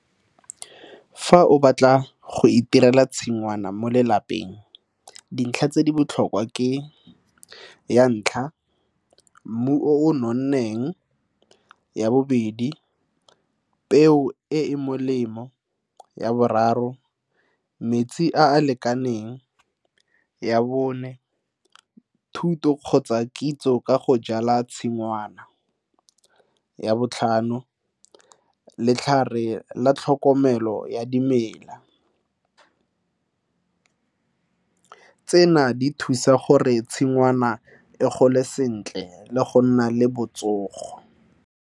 Fa o batla go itirela tshingwana mo lelapeng, dintlha tse di botlhokwa ke, ya ntlha, mmu o nonneng. Ya bobedi, peo e e molemo. Ya boraro, metsi a a lekaneng. Ya bone, thuto kgotsa kitso ka go jala tshingwana. Ya botlhano, letlhare la tlhokomelo ya dimela. Tsena di thusa gore tshingwana e gole sentle le go nna le botsogo.